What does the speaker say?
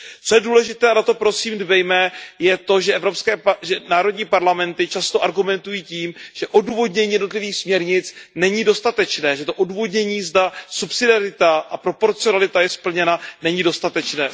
Co je důležité a na to prosím dbejme, je to, že národní parlamenty často argumentují tím, že odůvodnění jednotlivých směrnic není dostatečné, že to odůvodnění, zda subsidiarita a proporcionalita je splněna, není dostatečné.